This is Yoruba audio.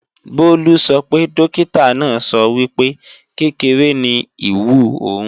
Bólú sọ pé Dókítà náà sọ wípé, kékeré ni ìwú òun